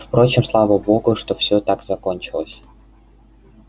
впрочем слава богу что все так закончилось